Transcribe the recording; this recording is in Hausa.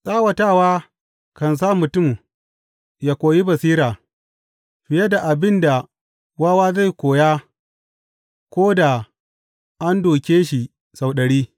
Tsawata kan sa mutum ya koyi basira fiye da abin da wawa zai koya ko da an dūke shi sau ɗari.